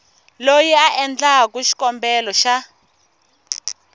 loyi a endlaku xikombelo xa